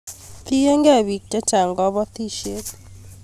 tiengei biik chechang kabotisie